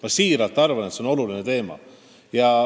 Ma tõesti arvan, et see on oluline teema.